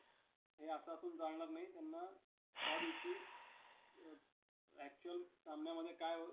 सेवा दलाच्या कला पथकाचे सारे श्रेय गुरुजींना आमच्या आमच्यासारखी मुले नाहीतर गाण्या गाण्या-बजावण्याऐवजी त्यांच्या